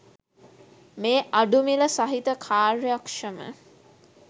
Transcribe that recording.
මේ අඩු මිළ සහිත කාර්යක්ෂම